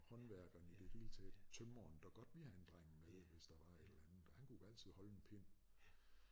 Håndværkeren i det hele taget tømren der godt vil have en dreng med hvis der var et eller andet og han kunne altid holde en pind